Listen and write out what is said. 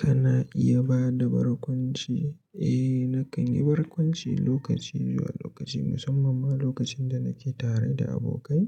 Kana iya bada barkwanci? Eh, nakan yi barkwanci lokaci zuwa lokaci, musamman ma lokacin da nake tare da abokai.